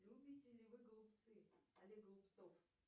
любите ли вы голубцы олег голубцов